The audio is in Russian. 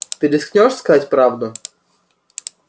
ты рискнёшь сказать правду